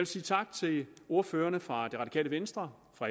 sige tak til ordførerne fra radikale venstre